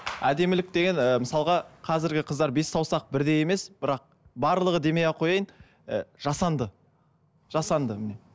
әдемілік деген ыыы мысалға қазіргі қыздар бес саусақ бірдей емес бірақ барлығы демей ақ қояйын і жасанды жасанды